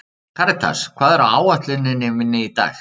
Karítas, hvað er á áætluninni minni í dag?